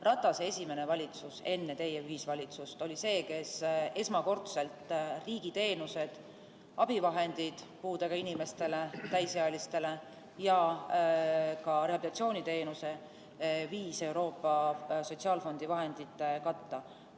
Ratase esimene valitsus enne teie ühisvalitsust oli see, mis esmakordselt riigi teenused, abivahendid täisealistele puudega inimestele ja ka rehabilitatsiooniteenuse viis Euroopa Sotsiaalfondi vahendite katta.